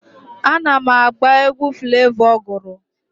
Ana m agba egwu Flevọ gụrụ.